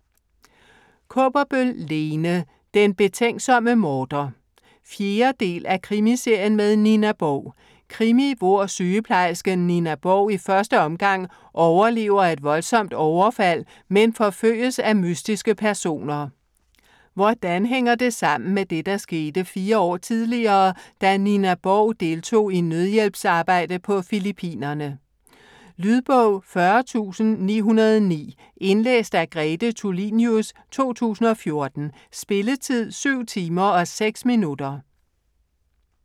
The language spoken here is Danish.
Kaaberbøl, Lene: Den betænksomme morder 4. del af Krimiserien med Nina Borg. Krimi, hvor sygeplejersken Nina Borg i første omgang overlever et voldsomt overfald, men forfølges af mystiske personer. Hvordan hænger det sammen med det, der skete 4 år tidligere, da Nina Borg deltog i nødhjælpsarbejde på Filippinerne? Lydbog 40909 Indlæst af Grete Tulinius, 2014. Spilletid: 7 timer, 6 minutter.